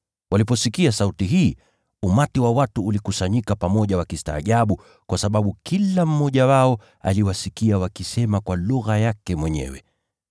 Waliposikia sauti hii, umati wa watu ulikusanyika pamoja wakistaajabu, kwa sababu kila mmoja wao aliwasikia wakisema kwa lugha yake mwenyewe.